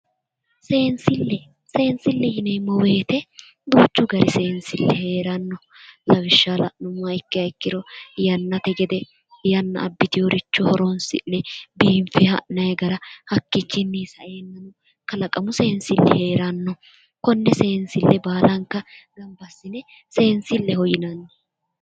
Seensile, seensile yineemmo woyte duuchu gari seensili heerano lawishsha la'nuummoha ikki ikkiro yannate gede yanna aabbiteworicho horonsi'ne biinfe ha'nanni gara hakkichini saenanno kalaqamu seensili heerano kone seesnile baallanka gamba assine seensileho yinnanni